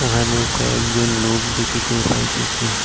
এখানে কয়েকজন লোক দেখিতে পাইতেসি।